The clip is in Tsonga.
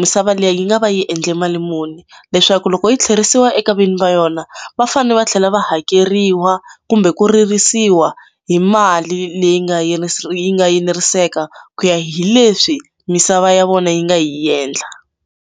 misava leyi yi nga va yi endle mali muni leswaku loko yi tlherisiwa eka vinyi va yona va fanele va tlhela va hakeriwa kumbe ku ririsiwa hi mali leyi nga yi nga eneriseka ku ya hi leswi misava ya vona yi nga yi endla.